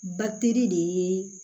Bateri de ye